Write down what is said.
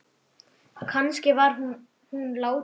Kannski var hún látin.